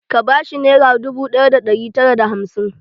Ka ba shi nera dubu ɗaya da ɗari tara da hamsin?